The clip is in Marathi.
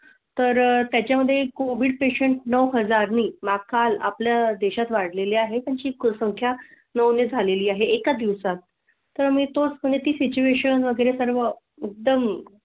तर त्याच्या मध्ये कोविड पेशंट नौ हज़ारणी माह काल आपल्या देशात वाढ लेली आहे. पंचीकरण संख्या नऊ झाली आहे. एका दिवसात तर मिळतोच पण ती सिच्युएशन वगैरे सर्व दम.